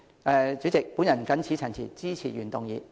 代理主席，我謹此陳辭，支持原議案。